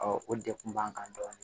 o de kun b'an kan dɔɔnin